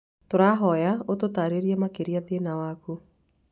Tũrahoya ũtũtarĩrie makĩria thĩna waku.